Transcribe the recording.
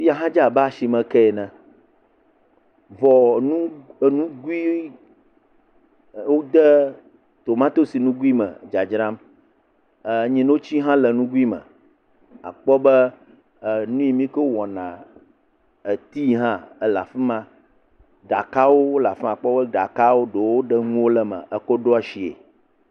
fiya hã dze abe asime keɛ ene vɔ nu enugui e wó de tomatoes nugui me dzadzram e nyinotsi hã le nugui me akpɔ be nyi mikɔ wɔna eti hã ela fima ɖakawo la fima akpɔ be ɖaka ɖewo ɖe ŋuwo le me eko ɖɔ sie